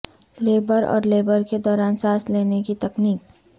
labour اور labour کے دوران سانس لینے کی تکنیک